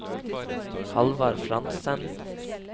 Hallvard Frantzen